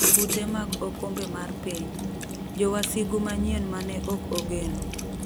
Kute mag okombe mar piny: Jowasigu manyien mane ok ogeno